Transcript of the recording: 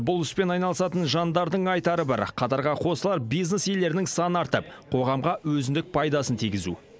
бұл іспен айналысатын жандардың айтары бір қатарға қосылар бизнес иелерінің саны артып қоғамға өзіндік пайдасын тигізу